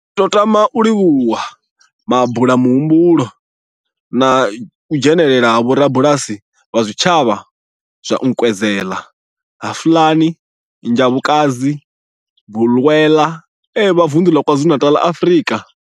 Ri khou tama u livhuwa mabulamuhumbulo na u dzhenela ha vhorabulasi vha zwitshavha zwa Nkwezela, Hlafuna na Njobokazi, Bulwer, vha Vundu la KwaZulu-Natal, Afrika.